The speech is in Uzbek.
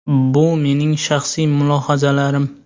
Bu mening shaxsiy mulohazalarim.